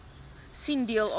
sien deel a